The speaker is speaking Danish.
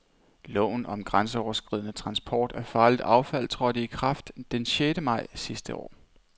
Loven om grænseoverskridende transport af farligt affald, trådte i kraft den sjette maj sidste år.